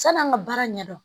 San'an ka baara ɲɛdɔn